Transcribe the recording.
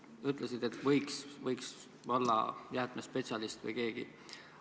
Sa ütlesid, et seda võiks teha valla jäätmespetsialist või keegi selline.